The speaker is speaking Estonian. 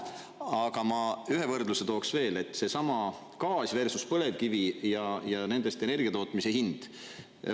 Aga ma ühe võrdluse tooks veel, et seesama gaas versus põlevkivi ja nendest energia tootmise hind.